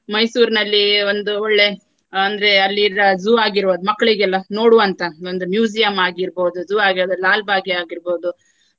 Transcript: ಮೈಸೂರ್ನಲ್ಲಿ ಒಂದು ಒಳ್ಳೆ ಅಂದ್ರೆ ಅಲ್ಲಿರ್ವ zoo ಆಗಿರುವದ್ದು ಮಕ್ಳಿಗೆಲ್ಲಾ ನೋಡುವಂತಹ ಒಂದು museum ಆಗಿರ್ಬಹುದು. zoo ಆಗಿರ್ಬಹುದು. ಲಾಲ್ ಭಾಗೇ ಆಗಿರ್ಬಹುದು.